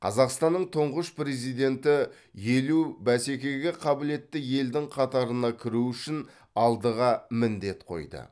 қазақстанның тұңғыш президенті елу бәсекеге қабілетті елдің қатарына кіру үшін алдыға міндет қойды